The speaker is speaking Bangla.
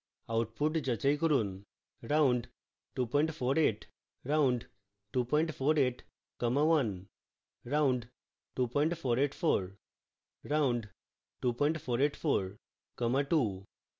output যাচাই করুন